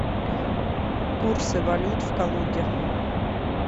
курсы валют в калуге